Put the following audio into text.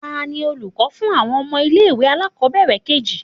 Tani olukọ fún awọn ọmọ ile-iwe alakobere keji?